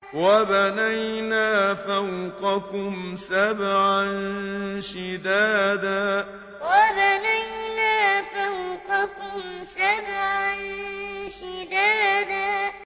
وَبَنَيْنَا فَوْقَكُمْ سَبْعًا شِدَادًا وَبَنَيْنَا فَوْقَكُمْ سَبْعًا شِدَادًا